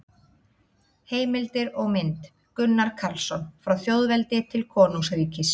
Heimildir og mynd: Gunnar Karlsson: Frá þjóðveldi til konungsríkis